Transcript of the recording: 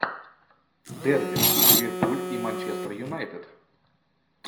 дерби ливерпуль и манчестер юнайтед